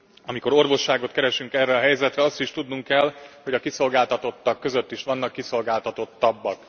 Amikor orvosságot keresünk erre a helyzetre, azt is tudnunk kell, hogy a kiszolgáltatottak között is vannak kiszolgáltatottabbak.